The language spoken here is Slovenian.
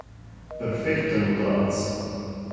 Perfekten udarec.